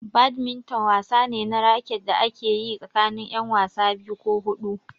Badminton wasa ne na raket da ake yi tsakanin ƴan wasa biyu ko huɗu.